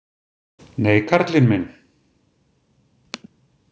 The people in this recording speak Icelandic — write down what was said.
Nei, karlinn minn!